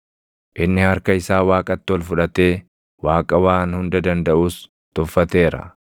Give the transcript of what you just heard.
inni harka isaa Waaqatti ol fudhatee Waaqa Waan Hunda Dandaʼus tuffateera;